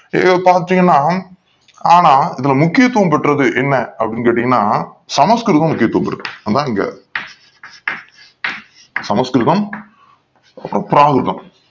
இங்க பாத்திங்கன ஆனா இதுல முக்கியதுவம் பெற்றது என்ன கேட்டிங்கன சமஸ்கிருதம் முக்கியதுவம் பெற்றது அதான் இங்க சமஸ்கிருதம் பிராகிருதம்